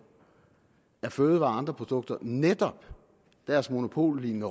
af fødevarer og andre produkter netop deres monopollignende